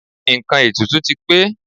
Nǹkan ètùtù ti pé.